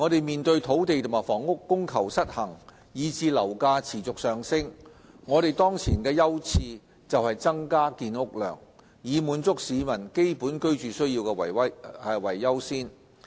面對土地和房屋供求失衡以至樓價持續上升，我們當前的優次是增加建屋量，以滿足市民基本居住需要為優先。